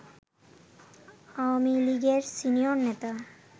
আওয়ামী লীগের সিনিয়র নেতা